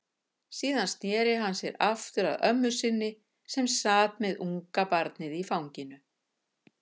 Síðan sneri hann sér aftur að ömmu sinni, sem sat með ungabarnið í fanginu.